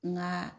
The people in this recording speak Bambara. Nka